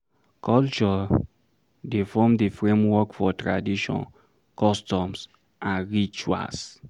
Culture dey form di framework for tradition, customs and rituals